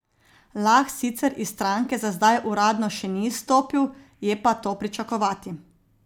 Lah sicer iz stranke za zdaj uradno še ni izstopil, je pa to pričakovati.